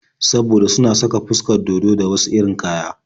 Saboda suna saka fuskar dodo da wasu irin kaya.